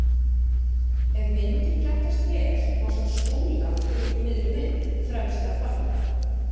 Ef myndin prentast vel má sjá Skúla fyrir miðri mynd, fremstan barna.